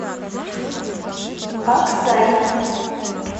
аксай